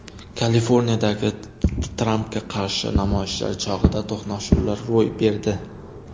Kaliforniyadagi Trampga qarshi namoyishlar chog‘ida to‘qnashuvlar ro‘y berdi.